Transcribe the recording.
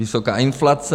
Vysoká inflace...